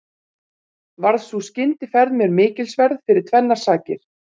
Varð sú skyndiferð mér mikilsverð fyrir tvennar sakir.